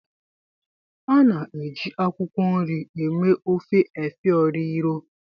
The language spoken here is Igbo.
A na-eji akwụkwọ nri eme ofe efo riro.